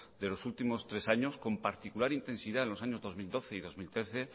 de los últimos tres años con particular intensidad en los años dos mil doce y dos mil trece